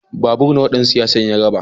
Babur nawa dan siyasar ya raba?